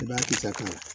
I b'a kisɛ kɛ